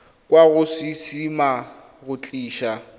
kwa go ccma go tlisa